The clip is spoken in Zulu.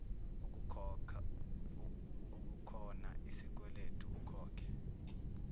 ukukhona isikweledu ekhokhe